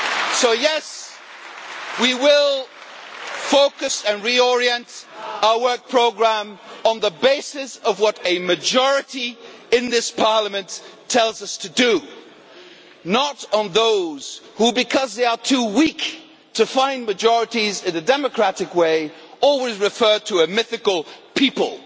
Sir. So yes, we will focus and reorient our work programme on the basis of what a majority in this Parliament tells us to do, not on account of those who, because they are too weak to find majorities in a democratic way, always referred to a mythical people'.